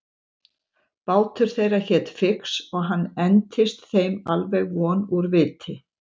Bátur þeirra hét Fix og hann entist þeim alveg von úr viti.